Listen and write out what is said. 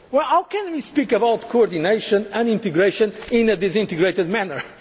Community level. How can we talk about coordination and integration in a disintegrated